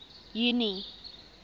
junie